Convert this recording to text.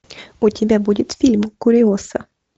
у тебя будет фильм куриоса